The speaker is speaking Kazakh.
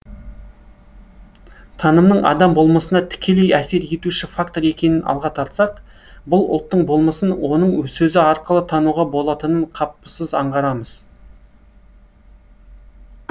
танымның адам болмысына тікелей әсер етуші фактор екенін алға тартсақ бір ұлттың болмысын оның сөзі арқылы тануға болатынын қапысыз аңғарамыз